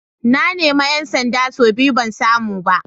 Na nemi ‘yan sanda sau biyu ban samu ba.